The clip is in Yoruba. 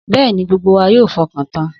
Bẹ́ẹ̀ni, gbogbo wa yóò fọkàn tan.